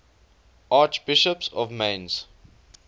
archbishops of mainz